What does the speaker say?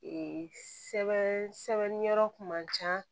Ee sɛbɛn sɛbɛn yɔrɔ kun man ca